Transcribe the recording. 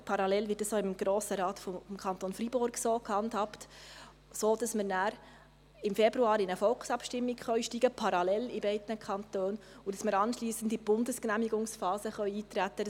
Parallel wird dies auch im Grossen Rat des Kantons Freiburg so gehandhabt, sodass wir nachher im Februar in eine Volksabstimmung steigen können, parallel in beiden Kantonen, und dass wir anschliessend in die Bundesgenehmigungsphase eintreten können.